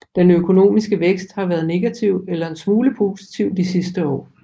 Den økonomiske vækst har været negativ eller en smule positiv de sidste år